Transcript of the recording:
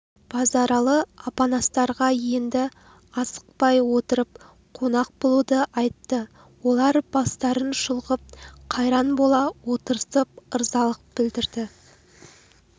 базаралы апанастарға енді асықпай отырып қонақ болуды айтты олар бастарын шұлғып қайран бола отырысып ырзалық білдірді